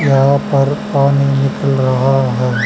यहां पर पानी निकल रहा है।